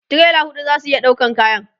tirela huɗu zasu iya ɗaukan kayan